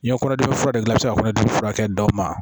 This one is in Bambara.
N ye kɔnɔdimi furakɛ i bɛ se ka kɔnɔdimi furakɛ dɔ ma